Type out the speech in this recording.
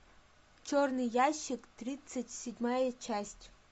черный ящик тридцать седьмая часть